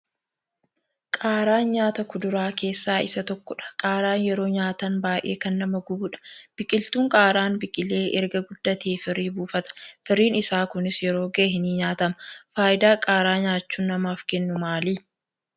qaaraan nyaata kuduraa keessaa isa tokkodha. Qaaraan yeroo nyaatan baay'ee kan nama gubudha. Biqiltuun qaaraan biqilee erga guddatee firii buufata firiin isaa kunis yeroo gahe ni nyaatama. faayidaa qaaraa nyaachuun namaaf kennu maali?